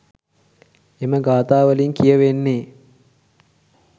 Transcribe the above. එම ගාථාවලින් කියවෙන්නේ